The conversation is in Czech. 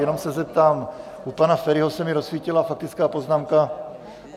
Jenom se zeptám, u pana Feriho se mi rozsvítila faktická poznámka.